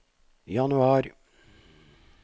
januar